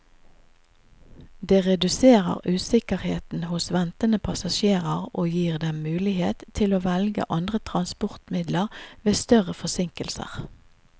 Det reduserer usikkerheten hos ventende passasjerer og gir dem mulighet til å velge andre transportmidler ved større forsinkelser.